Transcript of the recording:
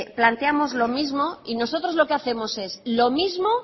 planteamos lo mismo y nosotros lo que hacemos es lo mismo